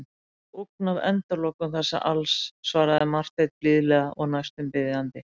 Mér stendur ógn af endalokum þessa alls, svaraði Marteinn blíðlega og næstum biðjandi.